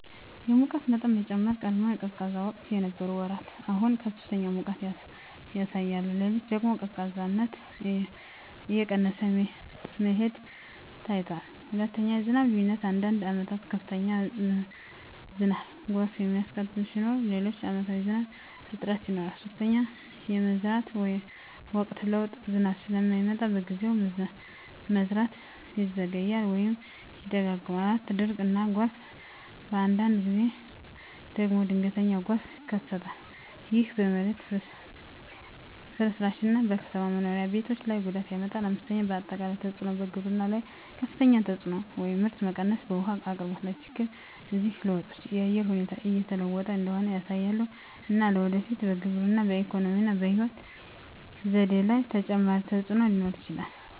የሙቀት መጠን መጨመር በቀድሞ የቀዝቃዛ ወቅት የነበሩ ወራት አሁን ከፍተኛ ሙቀት ያሳያሉ። ሌሊት ደግሞ ቀዝቃዛነት እየቀነሰ መሄዱ ታይቷል። 2. የዝናብ ልዩነት አንዳንድ ዓመታት ከፍተኛ ዝናብ (ጎርፍ የሚያስከትል) ሲኖር፣ ሌሎች ዓመታት ዝናብ እጥረት ይኖራል። 3. የመዝራት ወቅት ለውጥ ዝናብ ስለማይመጣ በጊዜው፣ መዝራት ይዘገያል ወይም ይደጋገማል። 4. ድርቅ እና ጎርፍ በአንዳንድ ጊዜ ደግሞ ድንገተኛ ጎርፍ ይከሰታል። ይህ በመሬት ፍርስራሽ እና በከተማ መኖሪያ ቤቶች ላይ ጉዳት ያመጣል። 5. አጠቃላይ ተፅዕኖ በግብርና ላይ ከፍተኛ ተፅዕኖ (ምርት መቀነስ) በውሃ አቅርቦት ላይ ችግኝ እነዚህ ለውጦች የአየር ሁኔታ እየተለወጠ እንደሆነ ያሳያሉ፣ እና ለወደፊት በግብርና፣ በኢኮኖሚ እና በሕይወት ዘዴ ላይ ተጨማሪ ተፅዕኖ ሊኖር ይችላል።